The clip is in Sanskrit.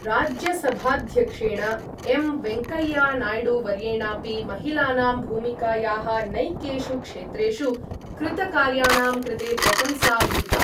राज्यसभाध्यक्षेण एम् वेङ्कय्यनाय्डुवर्येणापि महिलानां भूमिकायाः नैकेषु क्षेत्रेषु कृतकार्याणां कृते प्रशंसा विहिता।